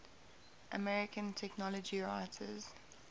american technology writers